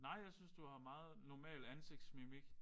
Nej jeg synes du har meget normal ansigtsmimik